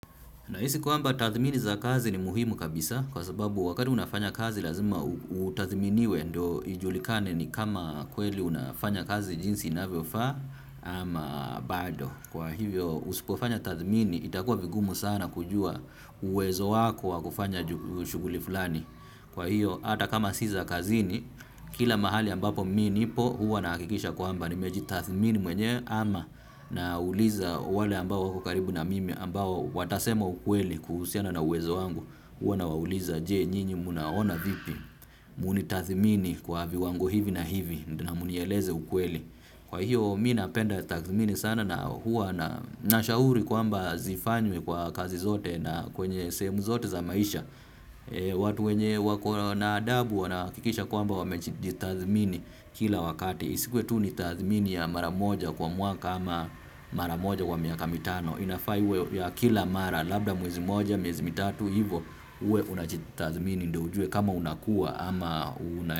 Nahisi kwamba tathmini za kazi ni muhimu kabisa kwa sababu wakati unafanya kazi lazima utathminiwe ndo ijulikane ni kama kweli unafanya kazi jinsi inavyofaa ama bado. Kwa hivyo usipofanya tathmini itakuwa vigumu sana kujua uwezo wako wa kufanya shughuli fulani. Kwa hiyo hata kama si za kazini, kila mahali ambapo mimi nipo huwa nahakikisha kwamba nimejitathmini mwenyewe ama nauliza wale ambao wako karibu na mimi ambao watasema ukweli kuhusiana na uwezo wangu huwa nawauliza je nyinyi mnaona vipi mnitathmini kwa viwango hivi na hivi ndo mnieleze ukweli. Kwa hiyo mimi napenda tathmini sana na huwa na nashauri kwamba zifanywe kwa kazi zote na kwenye sehemu zote za maisha. Watu wenye wako na adabu wanahakikisha kwamba wamejitathmini kila wakati. Isikuwe tu ni tathmini ya mara moja kwa mwaka ama mara moja wa miaka mitano. Inafaa iwe ya kila mara labda mwezi moja miezi mitatu hivo. Uwe unajitathmini ndo ujue kama unakua ama una.